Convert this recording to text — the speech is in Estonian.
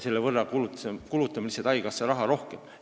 Selle võrra me kulutame lihtsalt haigekassa raha rohkem.